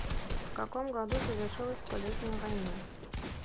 в каком году завершилась столетняя война